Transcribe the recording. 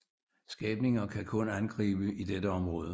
Skabninger kan kun angribe i dette område